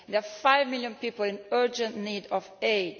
There are 5 million people in urgent need of aid.